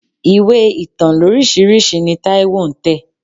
Ìwé ìtàn lóríṣiríṣi ni Táíwó ń tẹ̀.